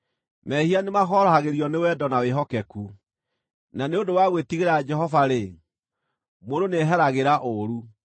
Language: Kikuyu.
Mehia nĩmahorohagĩrio nĩ wendo na wĩhokeku, na nĩ ũndũ wa gwĩtigĩra Jehova-rĩ, mũndũ nĩeheragĩra ũũru.